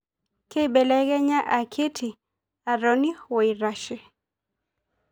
Keibelekenya akiti, atoni woaitashe.